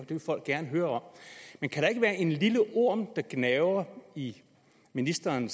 vil folk gerne høre om men kan der ikke være en lille orm der gnaver i ministeren